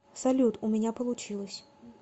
салют у меня получилось